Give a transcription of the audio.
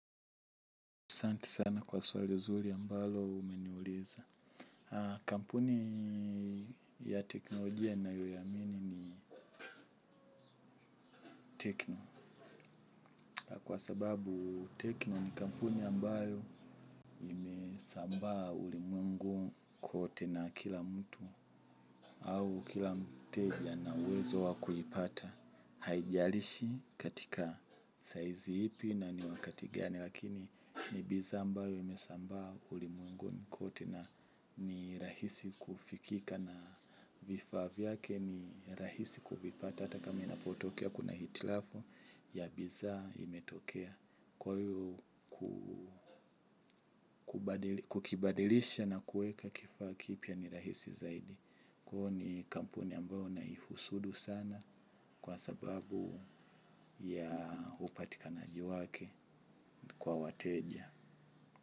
Asanti sana kwa swali zuri ambalo umeniuliza. Kampuni ya teknolojia nayoiamini ni tekno. Kwa sababu tekno ni kampuni ambayo imesambaa ulimwengu kote na kila mtu. Au kila mteja ana uwezo wa kuipata. Haijalishi katika size ipi na niwakati gani. Lakini ni bidhaa ambayo imesambaa ulimwengu kote na ni rahisi kufikika na vifaa viyake ni rahisi kuvipata. Hata kama inapotokea kuna hitilafu ya bidhaa imetokea ku ukibadilisha na kueka kifaa kipia ni rahisi zaidi Kuhu ni kampuni ambayo naifusudu sana kwa sababu ya upatikanaji wake kwa wateja.